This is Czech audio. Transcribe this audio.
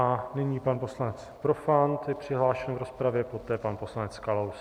A nyní pan poslanec Profant je přihlášen v rozpravě, poté pan poslanec Kalous.